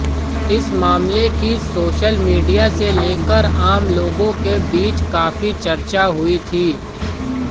इस मामले की सोशल मीडिया से लेकर आम लोगों के बीच काफ़ी चर्चा हुई थी